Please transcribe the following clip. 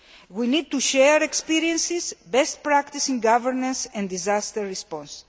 We need to share experiences, best practice in governance and disaster response.